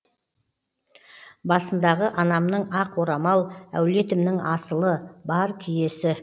басындағы анамның ақ орамал әулетімнің асылы бар киесі